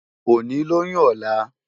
Óni lóyún òlá